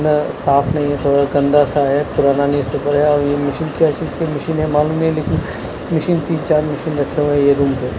साफ नहीं यह थोड़ा गंदा सा है। पुराना न्यूज पेपर है और यह मशीन क्या चीज़ की मशीन है मालूम नहीं लेकिन मशीन तीन चार मशीन रखे हुए है यह रूम पे।